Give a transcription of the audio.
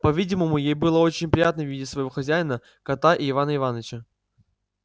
по-видимому ей было очень приятно видеть своего хозяина кота и ивана иваныча